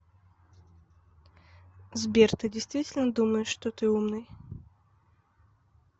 сбер ты действительно думаешь что ты умный